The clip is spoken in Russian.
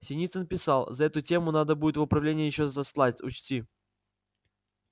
синицын писал за эту тему надо будет в управление ещё заслать учти